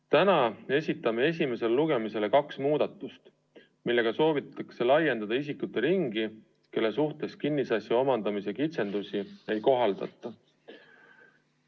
Täna esitame esimesele lugemisele kaks muudatust, millega soovitakse laiendada nende isikute ringi, kelle suhtes kinnisasja omandamise kitsendusi ei kohaldata.